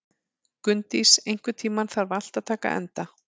Gunndís, einhvern tímann þarf allt að taka enda.